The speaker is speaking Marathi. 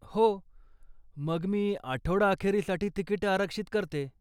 हो, मग मी आठवडाअखेरीसाठी तिकिटं आरक्षित करते.